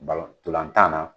ntolantan